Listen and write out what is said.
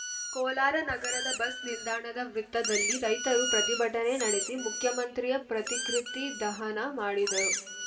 ಕೋಲಾರ ನಗರದ ಬಸ್‌ ನಿಲ್ದಾಣದ ವೃತ್ತದಲ್ಲಿ ರೈತರು ಪ್ರತಿಭಟನೆ ನಡೆಸಿ ಮುಖ್ಯಮಂತ್ರಿಯ ಪ್ರತಿಕೃತಿ ದಹನ ಮಾಡಿದರು